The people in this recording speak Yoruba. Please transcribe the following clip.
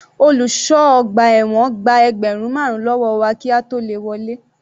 Olùṣọ́ ọgbà ẹ̀wọ̀n gba ẹgbẹ́rùn marun lọ́wọ́ wa kí a tó le wọlé.